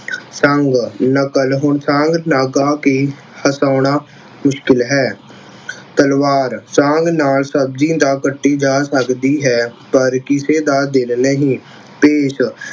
ਸੰਗ, ਨਕਲ ਹੁਣ ਸੰਗ ਲਗਾ ਕਿ ਹਸਾਉਣਾ ਮੁਸ਼ਕਿਲ ਹੈ। ਤਲਵਾਰ, ਸੰਗ ਨਾਲ ਸ਼ਬਜ਼ੀ ਤਾਂ ਕੱਟੀ ਜਾ ਸਕਦੀ ਹੈ ਪਰ ਕਿਸੇ ਦਾ ਦਿਲ ਨਹੀਂ । ਭੇਸ